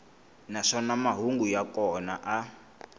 naswona mahungu ya kona a